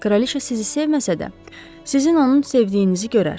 Kraliçə sizi sevməsə də, sizin onun sevdiyinizi görər.